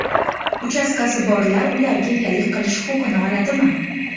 Uchastkasi borlar ularga egalik qilish huquqini oladimi?